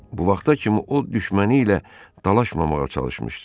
Bu vaxta kimi o düşməni ilə dalaşmamağa çalışmışdı.